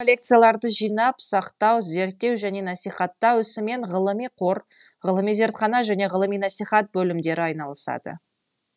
коллекцияларды жинап сақтау зерттеу және насихаттау ісімен ғылыми қор ғылыми зертхана және ғылыми насихат бөлімдері айналысады